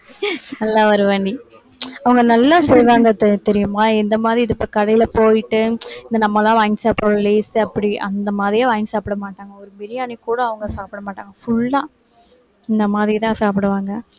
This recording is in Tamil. நல்லா வருவ நீ அவங்க நல்லா செய்வாங்க தெ~ தெரியுமா இந்த மாதிரி இது இப்ப கடையில போயிட்டு இந்த நம்மெல்லாம் வாங்கி சாப்பிடுறோம் lays அப்படி அந்த மாதிரியே வாங்கி சாப்பிட மாட்டாங்க ஒரு பிரியாணி கூட அவங்க சாப்பிட மாட்டாங்க full ஆ இந்த மாதிரிதான் சாப்பிடுவாங்க